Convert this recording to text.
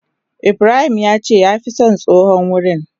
Ibrahim yace ya fi son tsohon wurin.